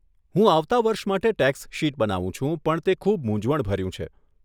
હું આવતાં વર્ષ માટે ટેક્સ શીટ બનાવું છું પણ તે ખૂબ મુંઝવણભર્યું છે.